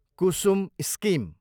Kusum scheme